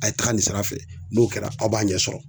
A' ye taga nin sira fɛ n'o kɛra aw b'a ɲɛ sɔrɔ.